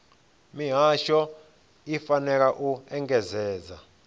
mihasho i fanela u engedzedza